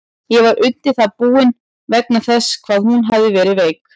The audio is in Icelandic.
Ég var undir það búinn, vegna þess hvað hún hafði verið veik.